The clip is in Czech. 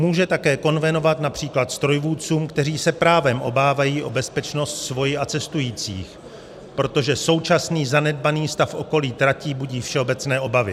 Může také konvenovat například strojvůdcům, kteří se právem obávají o bezpečnost svoji a cestujících, protože současný zanedbaný stav okolí tratí budí všeobecné obavy.